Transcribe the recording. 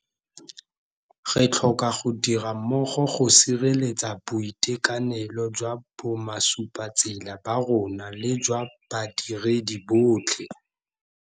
Re tlhoka go dira mmogo go sireletsa boitekanelo jwa bomasupatsela ba rona le jwa badiredi botlhe.